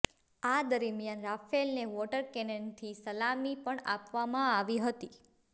આ દરમિયાન રાફેલને વોટર કેનનથી સલામી પણ આપવામાં આવી હતી